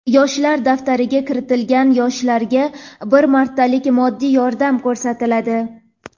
"Yoshlar daftari"ga kiritilgan yoshlarga bir martalik moddiy yordam ko‘rsatiladi.